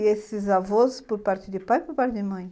E esses avós, por parte de pai ou por parte de mãe?